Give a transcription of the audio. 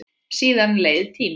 Síðan leið tíminn.